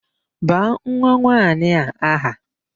Baa nwanwaanyị a aha!